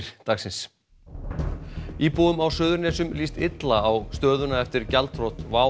dag íbúum á Suðurnesjum líst illa á stöðuna eftir gjaldþrot WOW